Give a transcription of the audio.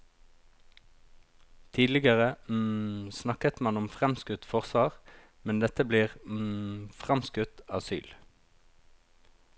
Tidligere snakket man om framskutt forsvar, men dette blir framskutt asyl.